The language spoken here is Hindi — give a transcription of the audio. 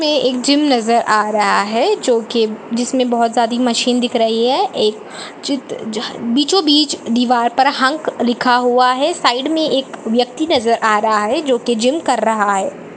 ए एक जीम नजर आ रहा है जो की जिसमे बहोत सारी मशीन दिख रही है एक चित्र बीचों बीच दीवार पर हंक लिखा हुआ है साईड मे एक व्यक्ति नजर आ रहा है जो की जिम कर रहा है।